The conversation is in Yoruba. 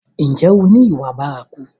Ǹjẹ́ o ni ìwà bárakú?